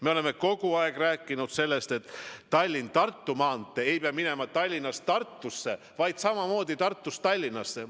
Me oleme kogu aeg rääkinud sellest, et Tallinna–Tartu maantee ei pea minema Tallinnast Tartusse, vaid samamoodi Tartust Tallinnasse.